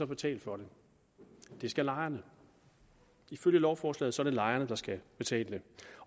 betale for det det skal lejerne ifølge lovforslaget er det lejerne der skal betale